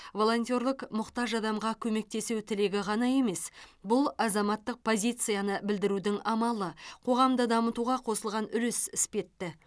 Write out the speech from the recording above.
волонтерлік мұқтаж адамға көмектесу тілегі ғана емес бұл азаматтық позицияны білдірудің амалы қоғамды дамытуға қосылған үлес іспетті